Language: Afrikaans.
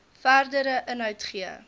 verdere inhoud gee